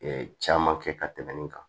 caman kɛ ka tɛmɛn nin kan